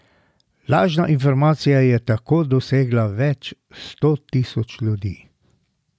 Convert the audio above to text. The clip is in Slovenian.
Lažna informacija je tako dosegla več sto tisoč ljudi.